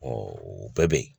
o bɛɛ be yen